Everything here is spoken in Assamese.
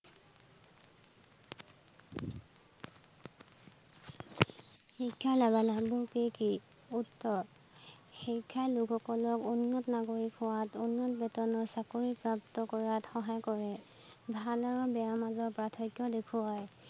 শিক্ষাৰ লাভালাভবোৰ কি কি? উত্তৰ শিক্ষাই লোক সকলক উন্নত নাগৰিক হোৱাত, উন্নত বেতনৰ চাকৰি প্ৰাপ্ত কৰাত সহায় কৰে। ভাল আৰু বেয়াৰ মাজত পাৰ্থক্য দেখুৱায়